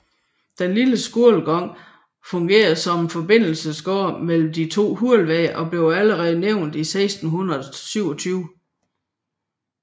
Den lille skolegang fungerer som forbindelsesgade mellem de to Hulveje og blev allerede nævnt i 1627